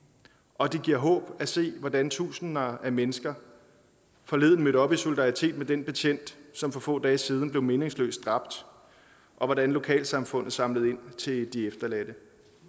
og det giver håb at se hvordan tusinder af mennesker forleden mødte op i solidaritet med den betjent som for få dage siden blev meningsløs dræbt og at lokalsamfundet samlede ind til de efterladte